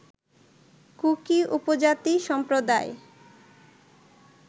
cookie উপজাতি সম্প্রদায়